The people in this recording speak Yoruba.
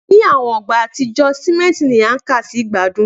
Ni awọn igba atijọ, simenti ni a kà si igbadun